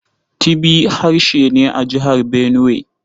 Tibi harshe ne a Jihar Benuwai.